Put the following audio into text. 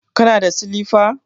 Kana da silifa?